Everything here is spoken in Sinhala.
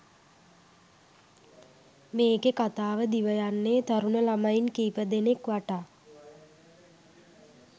මේකෙ කතාව දිවයන්නෙ තරුණ ළමයින් කීපදෙනෙක් වටා.